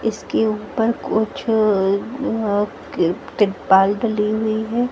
इसके ऊपर कुछ अ अं किर तिरपाल डली हुई है।